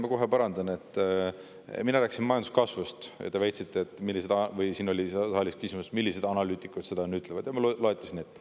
Ma kohe parandan, et mina rääkisin majanduskasvust ning teie väitsite või siin saalis oli küsimus, millised analüütikud seda ütlevad, on ju, ja ma loetlesin neid.